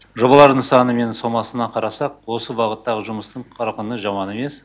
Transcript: жобалардың саны мен сомаларына қарасақ осы бағыттағы жұмыстың қарқыны жаман емес